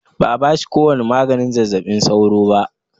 Ba a bashi ko wani maganin zazzabin sauro ba.